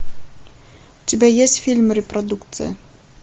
у тебя есть фильм репродукция